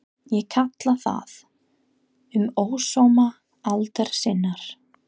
Ég kalla það: Um ósóma aldar sinnar